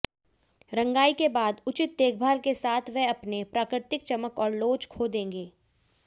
रंगाई के बाद उचित देखभाल के साथ वे अपने प्राकृतिक चमक और लोच खो देंगे